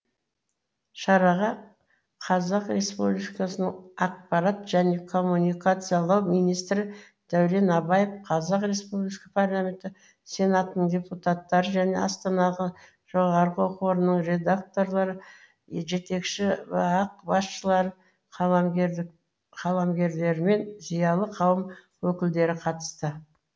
шараға республикасының ақпарат және коммуникациялар министрі дәурен абаев республикасының парламенті сенатының депутаттары және астанадағы жоғары оқу орындарының ректорлары жетекші бақ басшылары қаламгерлермен зиялы қауым өкілдері қатысты